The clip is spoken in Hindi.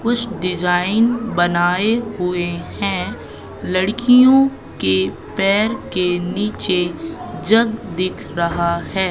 कुछ डिजाइन बनाए हुएं हैं लड़कियों के पैर के नीचे जग दिख रहा हैं।